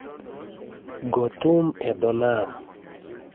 Go thum e dho nam